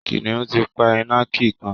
Kìnìún ti pa ìnàkí kan